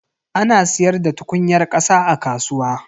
Ana siyar da tukunyar kasa a kasuwa.